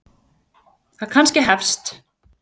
Það kannski hefst.